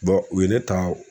u ye ne ta.